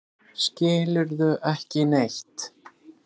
Skilurðu ekki neitt?